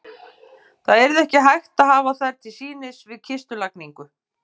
Það yrði ekki hægt að hafa þær til sýnis við kistulagningu.